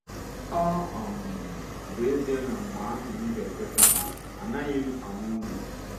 Ọ um bụ ezie na mgbe ahụ m ga -ekweta ha: “Anaghị m ama unu!”